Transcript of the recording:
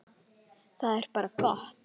Það er bara gott.